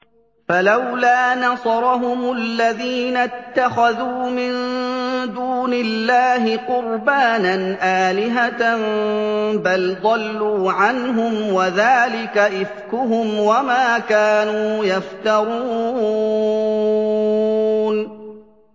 فَلَوْلَا نَصَرَهُمُ الَّذِينَ اتَّخَذُوا مِن دُونِ اللَّهِ قُرْبَانًا آلِهَةً ۖ بَلْ ضَلُّوا عَنْهُمْ ۚ وَذَٰلِكَ إِفْكُهُمْ وَمَا كَانُوا يَفْتَرُونَ